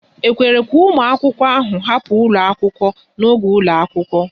E kwere ka ụmụ akwụkwọ hapụ ụlọ akwụkwọ ahụ n'oge ụlọ akwụkwọ?